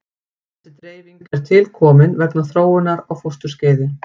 Þessi dreifing er tilkomin vegna þróunar á fósturskeiði.